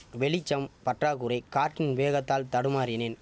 வெளிச்சம் பற்றாக்குறை காற்றின் வேகத்தால் தடுமாறினேன்